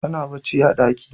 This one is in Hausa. Tana bacci a daki.